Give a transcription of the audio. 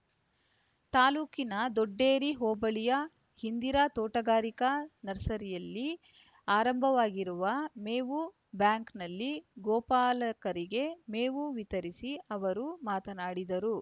ತಾಲ್ಲೂಕಿನ ದೊಡ್ಡೇರಿ ಹೋಬಳಿಯ ಇಂದಿರಾ ತೋಟಗಾರಿಕಾ ನರ್ಸರಿಯಲ್ಲಿ ಆರಂಭವಾಗಿರುವ ಮೇವು ಬ್ಯಾಂಕ್‌ನಲ್ಲಿ ಗೋಪಾಲಕರಿಗೆ ಮೇವು ವಿತರಿಸಿ ಅವರು ಮಾತನಾಡಿದರು